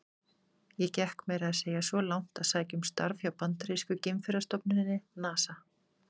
Ég gekk meira að segja svo langt að sækja um starf hjá bandarísku geimferðastofnuninni, NASA.